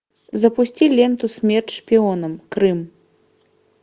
запусти ленту смерть шпионам крым